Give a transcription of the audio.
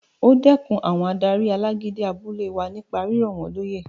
O dẹkùn àwọn adarí alágídí abúlé wa nípa rírọ̀ wọ́n lóyè